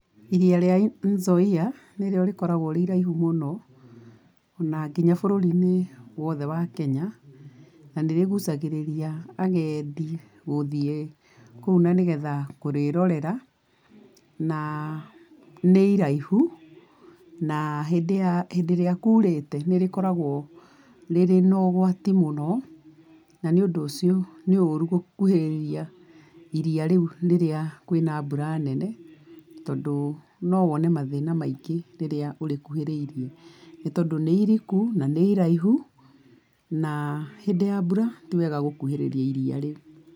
Iria rĩa Nzoia nĩ rĩo rĩkoragwo rĩiraihu mũno, o na nginya bũrũri-inĩ wothe wa Kenya. Na nĩ rĩgucagĩrĩria agendi gũthiĩ kũu na nĩgetha kũrĩĩrorera. Na, nĩ iraihu na hĩndĩ ya, hĩndĩ ĩrĩa kuurĩte nĩ rĩkoragwo rĩrĩ na ũgwati mũno, na nĩ ũndũ ũcio, nĩ ũru gũkuhĩrĩria iria rĩu rĩrĩa kwĩna mbura nene tondũ no wone mathĩna maingĩ rĩrĩa ũrĩkuhĩrĩrie tondũ nĩ iriku, na nĩ iraihu, na hĩndĩ ya mbura ti wega gũkuhĩrĩria iria rĩu.